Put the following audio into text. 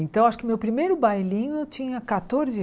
Então, acho que meu primeiro bailinho eu tinha catorze